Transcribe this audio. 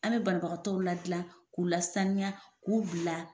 An bɛ banbagatɔw ladilan k'u lasaniya k'u bila